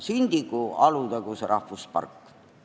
Sündigu Alutaguse rahvuspark.